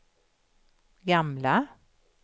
gamla